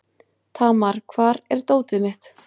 Tamar, hvar er dótið mitt?